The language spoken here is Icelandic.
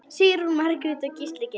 Sigrún Margrét og Gísli Geir.